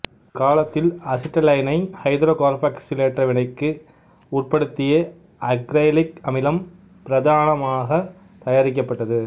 ஒரு காலத்தில் அசிட்டைலீனை ஐதரோகார்பாக்சிலேற்ற வினைக்கு உட்படுத்தியே அக்ரைலிக் அமிலம் பிரதானமாகத் தயாரிக்கப்பட்டது